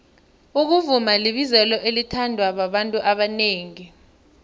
ukuvuma libizelo elithandwa babantu abanengi